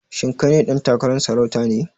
Shin kai ɗan takarar sarauta ne?